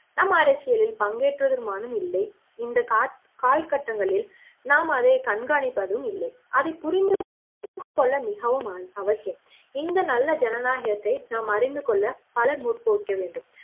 நாம் அரசியலில் பங்கேற்றவரும் இல்லை இந்த காட்டு காலக்கட்டங்களில் நாம் அதை கண்காணிப்பதும் இல்லை அதை புரிந்து கொள்ள மிகவும் அவசியம் இந்த நல்ல ஜனநாயகத்தை நாம் அறிந்துகொள்ள பலர் முற்படவேண்டும்